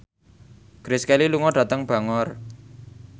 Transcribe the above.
Grace Kelly lunga dhateng Bangor